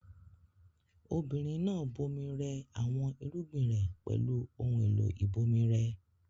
Obìnrin náà bomi rẹ àwọn irúgbìn rẹ̀ pẹ̀lú ohun-èlò ìbomirẹ.